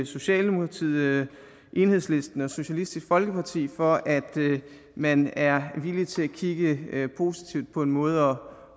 socialdemokratiet enhedslisten og socialistisk folkeparti for at man er villig til at kigge positivt på en måde